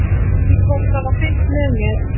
Ég veit ekki hvort það var fylgst með mér.